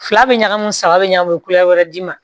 Fila bɛ ɲagami saba bɛ ɲa u bɛ kule wɛrɛ d'i ma